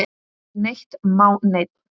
Ekki neitt má neinn!